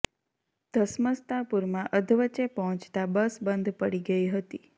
ધસમસતા પુરમાં અધવચ્ચે પહોંચતા બસ બંધ પડી ગઈ હતી